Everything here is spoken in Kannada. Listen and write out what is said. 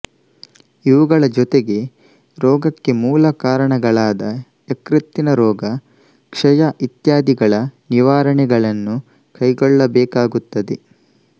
ಇವುಗಳ ಜೊತೆಗೆ ರೋಗಕ್ಕೆ ಮೂಲ ಕಾರಣಗಳಾದ ಯಕೃತ್ತಿನ ರೋಗ ಕ್ಷಯ ಇತ್ಯಾದಿಗಳ ನಿವಾರಣೆಗಳನ್ನೂ ಕೈಗೊಳ್ಳಬೇಕಾಗುತ್ತದೆ